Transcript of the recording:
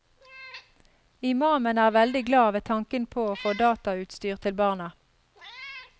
Imamen er veldig glad ved tanken på å få datautstyr til barna.